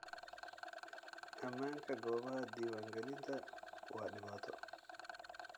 Ammaanka goobaha diiwaangelinta waa dhibaato.